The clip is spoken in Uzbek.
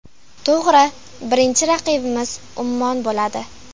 To‘g‘ri, birinchi raqibimiz Ummon bo‘ladi.